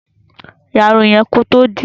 Ya Irun yen kò tó dì í